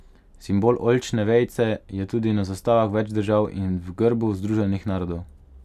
Simbol oljčne vejice je tudi na zastavah več držav in v grbu Združenih narodov.